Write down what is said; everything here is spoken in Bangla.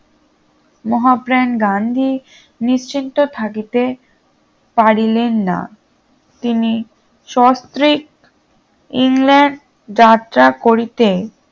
মহাপ্রান গান্ধী নিশ্চিন্ত থাকিতে পারিলেন না তিনি স্বস্ত্রিক ইংল্যান্ড যাত্রা করিতে